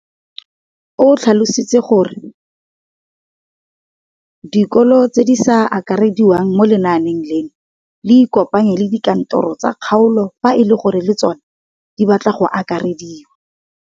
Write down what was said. O tlhalositse gore dikolo tse di sa akarediwang mo lenaaneng leno di ikopanye le dikantoro tsa kgaolo fa e le gore le tsona di batla go akarediwa.